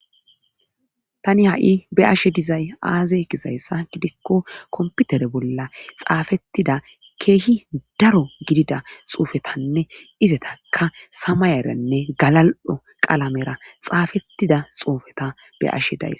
tani ha7i be ashe dizay aaze kizayssa gidikko komputere bolla xaafettida keehi daro gidida xuufetanne izetaka samayaranne galal7o qalamera xaafettida xuufeta be ashe days